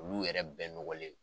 Olu yɛrɛ bɛɛ nɔgɔlen .